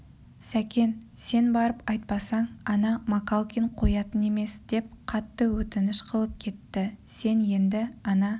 сәкен сен барып айтпасаң ана макалкин қоятын емес деп қатты өтініш қылып кетті сен енді ана